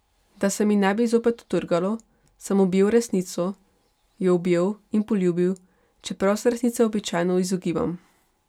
Da se mi ne bi zopet utrgalo, sem objel resnico, jo objel in poljubil, čeprav se resnice običajno izogibam.